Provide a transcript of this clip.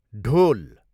ढोल